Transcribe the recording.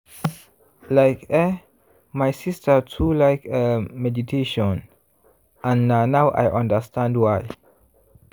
like eh my sister too like umm meditation and na now i understand why.